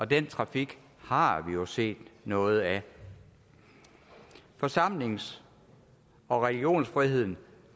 den trafik har vi jo set noget af forsamlings og religionsfriheden